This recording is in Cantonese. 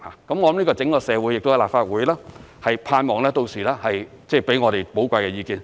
盼望整個社會、立法會屆時給予我們寶貴的意見。